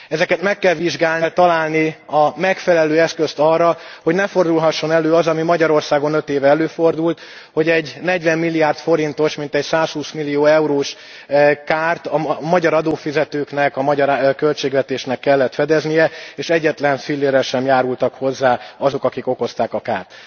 Ezeket meg kell vizsgálni, és meg kell találni a megfelelő eszközt arra, hogy ne fordulhasson elő az, ami Magyarországon öt éve előfordult, hogy egy negyvenmilliárd forintos, mintegy százhúsz millió eurós kárt a magyar adófizetőknek, a magyar költségvetésnek kellett fedeznie, és egyetlen fillérrel sem járultak hozzá azok, akik okozták a kárt.